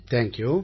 thank you